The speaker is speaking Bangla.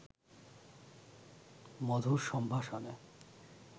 মধুর সম্ভাষণে